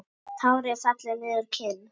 Tár ég felli niður kinn.